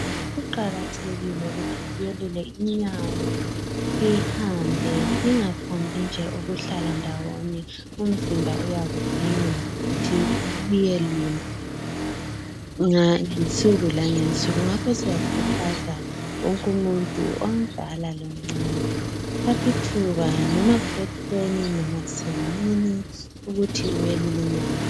Kuqakathekile ukuthi siyelule inyawo sihambe, singaphombi nje ukuhlala ndawonye. Umzimba uyakudinga ukuthi uyelule ngensuku langensuku. Ngakho siyakhuthaza wonke umuntu omdala lomncane, thathi thuba noba kusekuseni noba kusemini ukuthi uyelule inyawo.